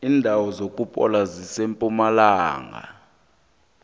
indawo zokuphola zisempumalanga